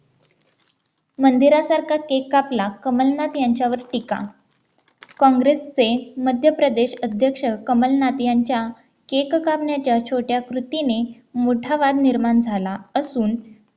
मंदिरासारखा cake कापला कमलनाथ यांच्यावर टीका काँग्रेसचे मध्य प्रदेश अध्यक्ष कमलनाथ यांच्या cake कापण्याच्या छोट्या कृतीने मोठा वाद निर्माण झाला असून